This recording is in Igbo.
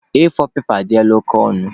A4 pepa adịla oke ọnụ.